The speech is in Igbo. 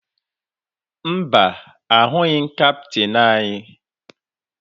Mba, ahụghị m kaptịn anyị